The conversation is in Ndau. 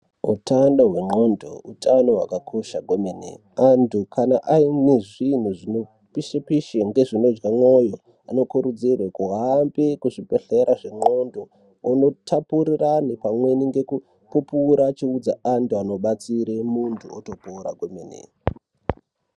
Uthano hwexanthu uthano hwakakosha kwemene. Anthu kana aine zvinhu zvinopishepishe ngezvinodya ndxondo anokurudzirwe kuhambe kuzvibhehlera zvendxondo onotapurira anthu pamweni ngekupupura echiudza anhu anobatsire munthu otopora kwemene.